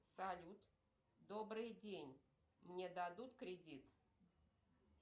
салют добрый день мне дадут кредит